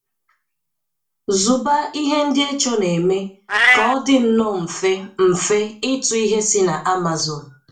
Zụba ihe Ndị Echo na-eme ka ọ dị nnọọ mfe mfe ịtụ ihe si na Amazon.